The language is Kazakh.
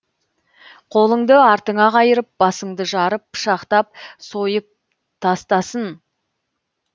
қолыңды артыңа қайырып басыңды жарып пышақтап сойып тастасын